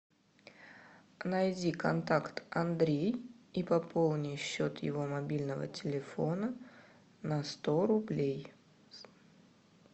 найди контакт андрей и пополни счет его мобильного телефона на сто рублей